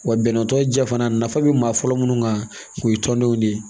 Wa bɛnɛ tɔ jɛ fana nafa bɛ maa fɔlɔ minnu kan o ye tɔndenw de ye